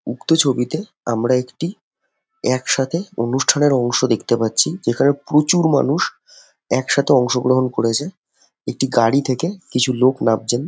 উক্ত ছবিতে আমরা একটি একসাথে অনুষ্ঠানের অংশ দেখতে পাচ্ছি যেখানে প্রচুর মানুষ একসাথে অংশ গ্রহণ করেছে। একটি গাড়ি থেকে কিছু লোক নামছেন |